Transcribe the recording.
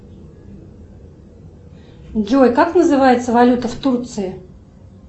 джой как называется валюта в турции